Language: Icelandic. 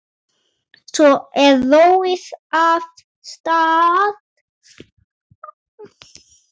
Svo er róið af stað.